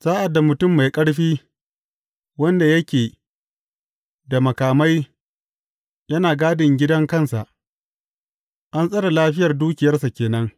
Sa’ad da mutum mai ƙarfi, wanda yake da makamai yana gadin gidan kansa, an tsare lafiyar dukiyarsa ke nan.